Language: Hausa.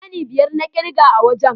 Ɗani biyar na ƙirga wa wajen.